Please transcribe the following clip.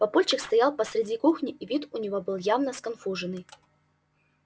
папульчик стоял посреди кухни и вид у него был явно сконфуженный